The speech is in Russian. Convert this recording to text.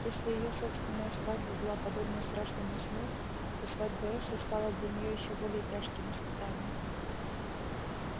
если её собственная свадьба была подобна страшному сну то свадьба эшли стала для неё ещё более тяжким испытанием